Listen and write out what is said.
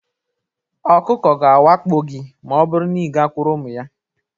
Ọkụkọ ga-awakpo gị ma ọ bụrụ na ị gakwuru ụmụ ya